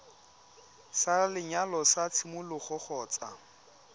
sa lenyalo sa tshimologo kgotsa